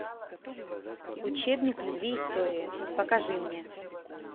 учебник любви истории покажи мне